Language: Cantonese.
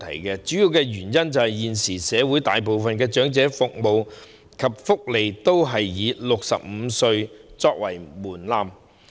其主要原因是，現時社會大部分長者服務及福利均以65歲為門檻。